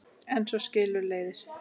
En svo skilur leiðir.